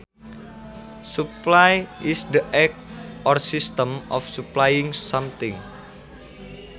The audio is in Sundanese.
Supply is the act or system of supplying something